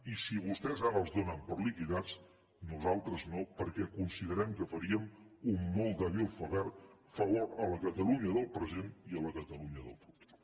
i si vostès ara els donen per liquidats nosaltres no perquè considerem que faríem un molt dèbil favor a la catalunya del present i a la catalunya del futur